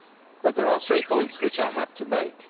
But there are three points which I have to make.